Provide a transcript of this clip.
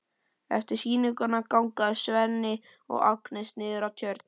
Eftir sýninguna ganga þau Svenni og Agnes niður að Tjörn.